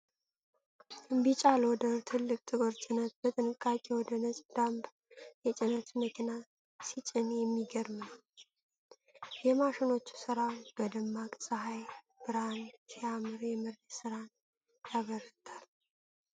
ቢጫ ሎደር ትልቅ ጥቁር ጭነት በጥንቃቄ ወደ ነጭ ዳምፕ የጭነት መኪና ሲጭን የሚገርም ነው። የማሽኖቹ ስራ በደማቅ ፀሐይ ብርሃን ሲያምር የመሬት ሥራን ያበርታል።